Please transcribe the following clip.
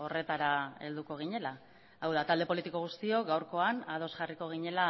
horretara helduko ginela hau da talde politiko guztiok gaurkoan ados jarriko ginela